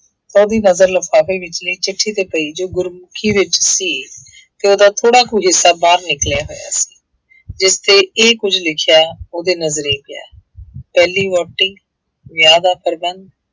ਤਾਂ ਉਹਦੀ ਨਜ਼ਰ ਲਿਫ਼ਾਫ਼ੇ ਵਿਚਲੀ ਚਿੱਠੀ ਤੇ ਪਈ ਜੋ ਗੁਰਮੁਖੀ ਵਿੱਚ ਸੀ ਤੇ ਉਹਦਾ ਥੋੜ੍ਹਾ ਕੁ ਹਿੱਸਾ ਬਾਹਰ ਨਿਕਲਿਆ ਹੋਇਆ ਸੀ ਜਿਸ ਤੇ ਇਹ ਕੁੱਝ ਲਿਖਿਆ ਹੋਇਆ ਉਹਦੇ ਨਜ਼ਰੀ ਪਿਆ ਪਹਿਲੀ ਵਹੁਟੀ, ਵਿਆਹ ਦਾ ਪ੍ਰਬੰਧ